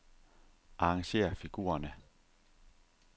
Arrangér figurerne.